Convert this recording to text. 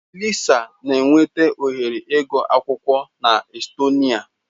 Lisa na enweta ohere ịgụ akwụkwọ na Estonia.